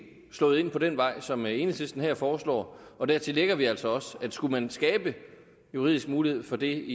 slået ind på den vej som enhedslisten her foreslår dertil lægger vi altså også at skulle man skabe juridisk mulighed for det